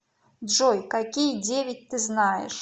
джой какие девять ты знаешь